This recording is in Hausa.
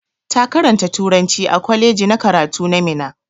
Ta karanta turanci a kwaleji na karatu na Minna.